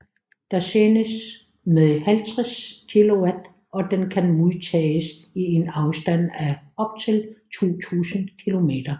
Der sendes med 50 kW og den kan modtages i en afstand af op til 2000 km